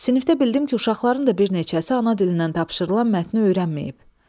Sinifdə bildim ki, uşaqların da bir neçəsi ana dilindən tapşırılan mətni öyrənməyib.